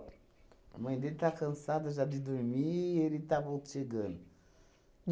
A mãe dele está cansada já de dormir e ele está vol chegando.